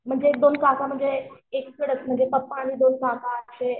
म्हणजे एक दोन काका म्हणजे पप्पा आणि दोन काका असे